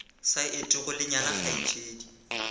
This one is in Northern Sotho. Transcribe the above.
sa etego le nyala kgaetšedi